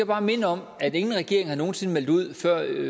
bare minde om at ingen regering nogen sinde har meldt ud før